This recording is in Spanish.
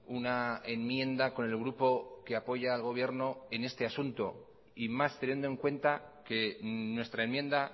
una enmienda con el grupo que apoya al gobierno en este asunto y más teniendo en cuenta que nuestra enmienda